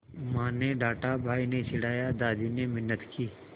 माँ ने डाँटा भाई ने चिढ़ाया दादी ने मिन्नत की